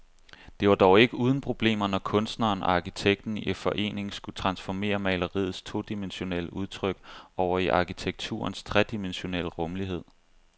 Det var dog ikke uden problemer, når kunstneren og arkitekten i forening skulle transformere maleriets todimensionelle udtryk over i arkitekturens tredimensionelle rumlighed.